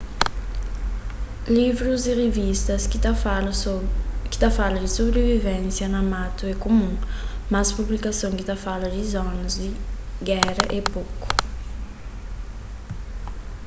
livrus y rivistas ki ta fala di sobrivivensia na matu é kumun mas publikasons ki ta fala di zonas di géra é poku